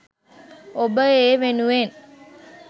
ඔබ ඒවෙනුවෙන්